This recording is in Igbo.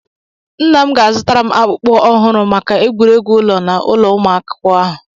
Nna m ga-azụtara m akpukpu ọhụrụ maka egwuregwu ụlọ na ụlọ umụ akwukwo ahụ.